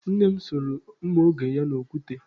Nne m soro mma oge ya n'okwute.